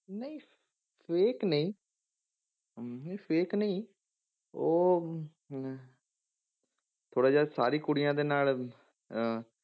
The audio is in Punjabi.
ਨਹੀਂ fake ਨਹੀਂ ਨਹੀਂ fake ਨਹੀਂ ਉਹ ਅਮ ਥੋੜ੍ਹਾ ਜਿਹਾ ਸਾਰੀ ਕੁੜੀਆਂ ਦੇ ਨਾਲ ਅਹ